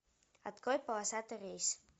открой полосатый рейс